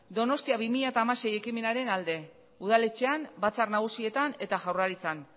donostia bi mila hamasei ekimenaren alde udaletxean batzar nagusietan eta jaurlaritzan